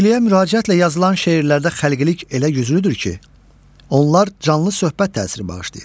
Sevgiliyə müraciətlə yazılan şeirlərdə xəlqilik elə yüzlülükdür ki, onlar canlı söhbət təsiri bağışlayır.